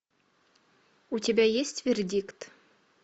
у тебя есть вердикт